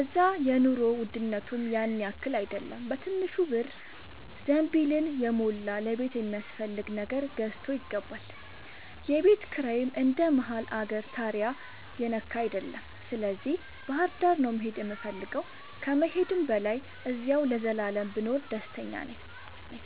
እዛ የኑሮ ውድነቱም ያንያክል አይደለም በትንሽ ብር ዘንቢልን የሞላ ለቤት የሚያስፈልግ ነገር ገዝቶ ይገባል። የቤት ኪራይም እንደ መሀል አገር ታሪያ የነካ አይደለም ስለዚህ ባህርዳር ነው መሄድ የምፈልገው ከመሄድም በላይ አዚያው ለዘላለም ብኖር ደስተኛ ነኝ።